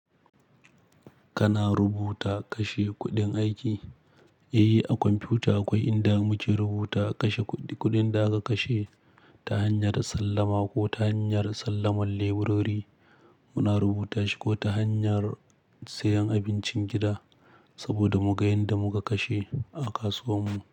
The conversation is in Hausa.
Kana rubuta kashe kuɗin aiki, yayi a kwamfuta kawai inda muke rubuta kashe kuɗin da aka kashe ta hanyar sallama ko ta hanyar sallamar leburori muna rubutashi ko ta hanyar sayen abincin gida saboda mu ga inda muka kashe a kasuwar mu.